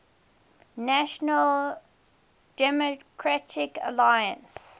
national democratic alliance